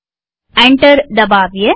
enter દબાવીએ